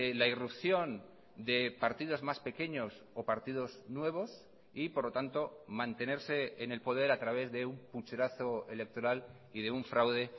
la irrupción de partidos más pequeños o partidos nuevos y por lo tanto mantenerse en el poder a través de un pucherazo electoral y de un fraude